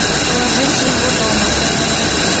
положить его дома